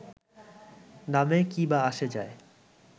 নামে কী বা আসে যায়